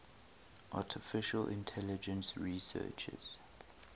artificial intelligence researchers